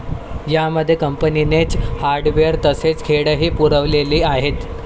या मध्ये कंपनीनेच हार्डवेअर तसेच खेळही पुरवलेली आहेत.